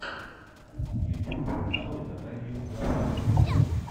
ютюб нарой наталью гафарову